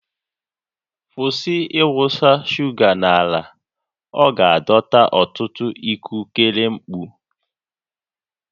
Kwụsị ịwụsa shuga n'ala, ọ ga-adọta ọtụtụ ikukere mkpọ